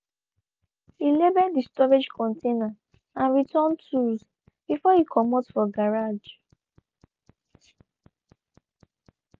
he labeled de storage container and returned tools before e comot for garage.